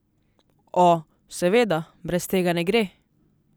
O, seveda, brez tega ne gre.